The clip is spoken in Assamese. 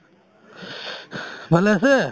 ভালে আছে ?